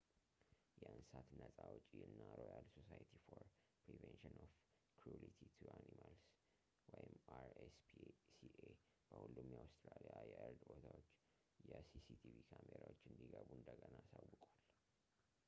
የእንስሳት ነፃ አውጭ እና ሮያል ሶሳይቲ ፎር ፕሪቨንሽን ኦፍ ክሩሊቲ ቱ አኒማልስ አር.ኤስ.ፒ.ሲ.ኤ በሁሉም የአውስትራሊያ የእርድ ቦታዎች የሲሲቲቪ ካሜራዎች እንዲገቡ እንደገና አሳውቀዋል